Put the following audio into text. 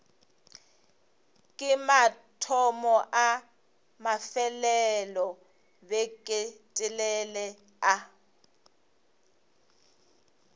ke mathomo a mafelelobeketelele a